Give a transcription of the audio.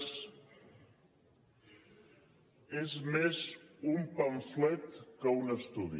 és més un pamflet que un estudi